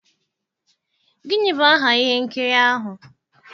Gịnị bụ aha ihe nkiri ahụ?